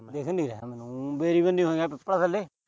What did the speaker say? ਦਿੱਖ ਨੀ ਰਿਹਾ ਮੈਨੂੰ। ਉ ਬੇਰੀ ਬਣੀ ਹੋਏਗਾ ਪਿੱਪਲ ਥੱਲੇ।